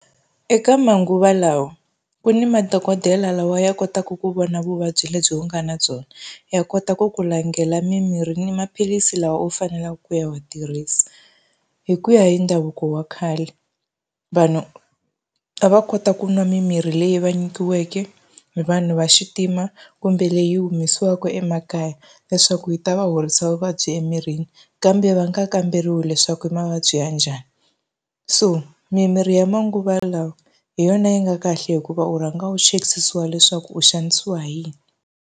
Eka manguva lawa ku ni madokodela lawa ya kotaka ku vona vuvabyi lebyi u nga na byona, ya kota ku ku langhela mimirhi ni maphilisi lawa u faneleke ku ya ma tirhisa. Hi ku ya hi ndhavuko wa khale, vanhu a va kota ku nwa mimirhi leyi va nyikiweke hi vanhu va xintima, kumbe leyi humesiwaku emakaya leswaku yi ta va horisa vuvabyi emirini kambe va ni nga kamberiwa leswaku mavabyi ya njhani. So mimirhi ya manguva lawa hi yona yi nga kahle hikuva u rhanga u chekisisiwa leswaku u xanisiwa hi yini.